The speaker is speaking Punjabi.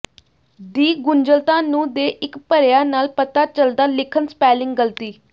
ਦੀ ਗੁੰਝਲਤਾ ਨੂੰ ਦੇ ਇੱਕ ਭਰਿਆ ਨਾਲ ਪਤਾ ਚੱਲਦਾ ਲਿਖਣ ਸਪੈਲਿੰਗ ਗਲਤੀ